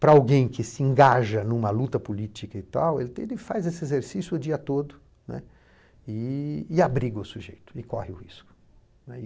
Para alguém que se engaja em uma luta política, ele faz esse exercício o dia todo, né, e abriga o sujeito e corre o risco, né.